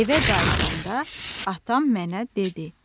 Evə qayıdanda atam mənə dedi: